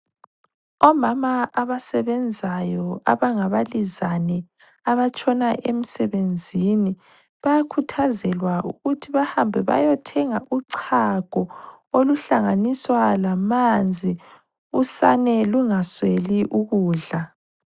Omama abasebenzayo abangabalizane abatshona emsebenzini, bayakhuthazelwa ukuthi bahambe bayothenga uchago oluhlanganiswa lamanzi, usane lungasweli ukudla.